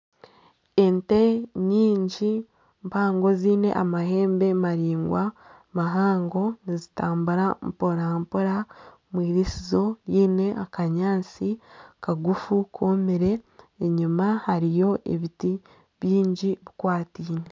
Ente nyingi mpango ziine amahembe maraingwa mahango nizitambura mparampora omwiriisizo ryine akanyaatsi kagufu komire enyuma hariyo ebiti bingi bikwataine.